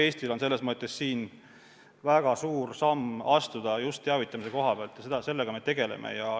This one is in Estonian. Eestil on selles mõttes väga suur samm astuda, just teavitamise koha pealt, ja sellega me tegeleme.